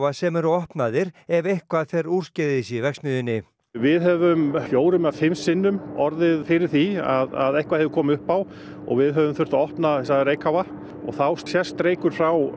sem eru opnaðir ef eitthvað fer úrskeiðis í verksmiðjunni við höfum fjórum eða fimm sinnum orðið fyrir því að eitthvað hefur komið upp á og við höfum þurft að opna þessa reykháfa og þá sést reykur frá